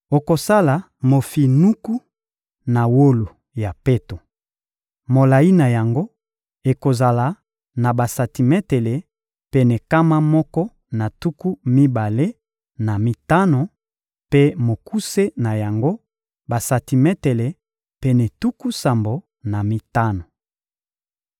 Okosala mofinuku na wolo ya peto. Molayi na yango ekozala na basantimetele pene nkama moko na tuku mibale na mitano; mpe mokuse na yango, basantimetele pene tuku sambo na mitano.